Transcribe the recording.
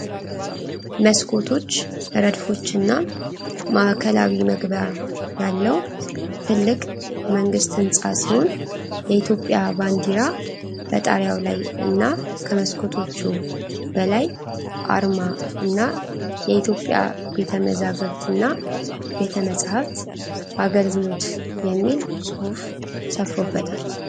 መስኮቶች ረድፎች እና ማእከላዊ መግቢያ ያለው ትልቅ የመንግስት ህንጻ ሲሆን የኢትዮጵያ ባንዲራ በጣሪያው ላይ እና ከመስኮቶቹ በላይ አርማ እና የኢትዮጵያ ቤተመዛግብትና ቤተመጽሃፍት አገልግሎት የሚል ጽሁፍ ሰፍሮበታል።